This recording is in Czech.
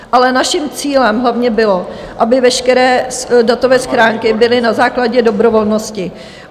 Ale naším cílem hlavně bylo, aby veškeré datové schránky byly na základě dobrovolnosti.